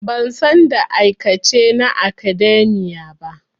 Ban san da aikace na academia ba.